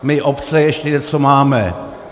My, obce, ještě něco máme.